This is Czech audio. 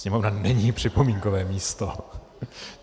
Sněmovna není připomínkové místo.